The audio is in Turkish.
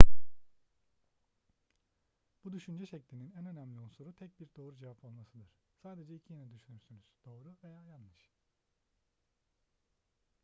bu düşünce şeklinin en önemli unsuru tek bir doğru cevap olmasıdır sadece iki yanıt düşünürsünüz doğru veya yanlış